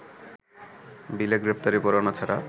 বিলে গ্রেপ্তারি পরোয়ানা ছাড়া